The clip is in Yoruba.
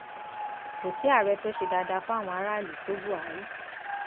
kò sí ààrẹ tó ṣe dáadáa fáwọn aráàlú tó buhari